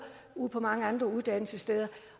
ude på mange uddannelsessteder